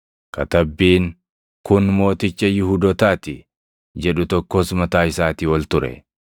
Katabbiin, Kun Mooticha Yihuudootaa ti, jedhu tokkos mataa isaatii ol ture.